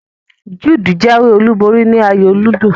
Jude jáwé olúborí ni ayò ludo